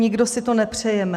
Nikdo si to nepřejeme.